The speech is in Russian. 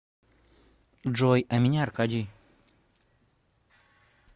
джой а меня аркадий